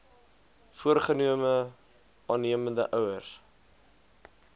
voorgenome aannemende ouers